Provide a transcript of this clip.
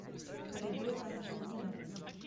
халидой константиновной